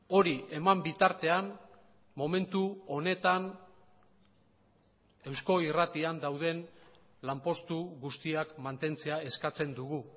hori eman bitartean momentu honetan eusko irratian dauden lanpostu guztiak mantentzea eskatzen dugu